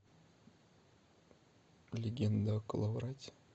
легенда о коловрате